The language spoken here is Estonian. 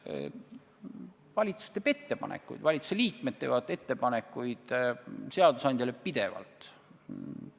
Valitsus teeb ettepanekuid, valitsuse liikmed teevad seadusandjale pidevalt ettepanekuid.